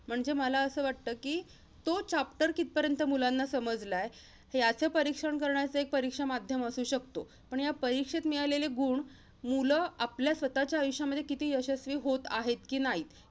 म्हणजे मला असं वाटतं कि, तो chapter कितपर्यंत मुलांना समजलाय, याचं परीक्षण करण्याचं एक परीक्षा माध्यम असू शकतो. पण या परीक्षेत मिळालेले गुण, मुलं आपल्या स्वतःच्या आयुष्यामध्ये किती यशस्वी होत आहेत कि नाहीत,